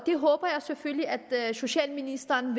det håber jeg selvfølgelig at socialministeren